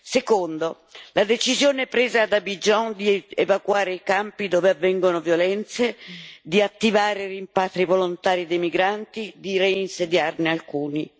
Secondo la decisione presa ad Abidjan di evacuare i campi dove avvengono violenze, di attivare rimpatri volontari dei migranti, di reinsediarne alcuni.